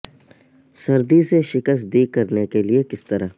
سردی سے شکست دی کرنے کے لئے کس طرح